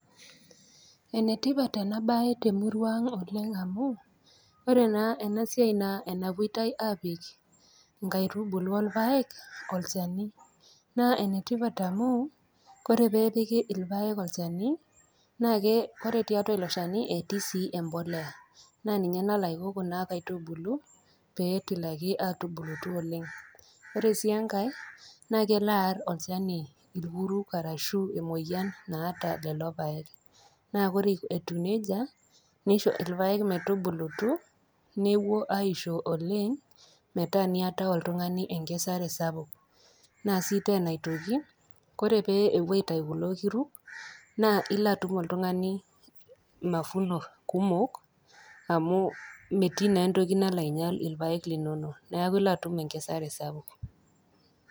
Enetipat enabae temurua ang oleng amu, ore naa ena siai nawuoitai apik inkaitubulu olpaek olchani. Naa enetipat amu ore pee epiki ilpaek olchani naake ore tiatua ilo shani nake etii sii embolea naa ninye nalo aiko kuna kaitubuku metubulutu oleng. Ore sii engai, naa kelo aar olchani ilkurruk arashu emoyian naata lelo paek. Naa ore etiu neja, neisho ilpaek metubulutu newuo aisho oleng metaa niatayu oltung'ani enkesare sapuk. Ore sii tena aitoki, ore pee ewoi aitayu kulo kurruk, naa ilo atum oltung'ani mavuno kumok, amu metii naa entoki nalo ainyal ilpaek linono. Neaku ilo atum enkesare sapuk.